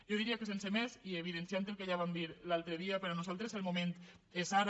jo diria que sense més i evidenciant el que ja vam dir l’altre dia per nosaltres el moment és ara